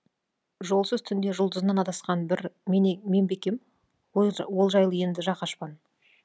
жолсыз түнде жұлдызынан адасқан бір мен бе екем ол жайлы енді жақ ашпан